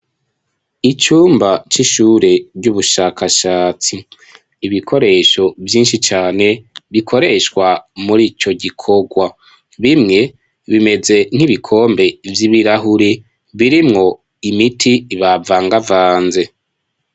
Icumba c'ishure ry'ubushakashatsi. Ibikoresho vyinshi cane bikoreshwa muri ico gikorwa. Bimwe bimeze nk'ibikombe vy'ibirahure birimwo imiti bavangavanze.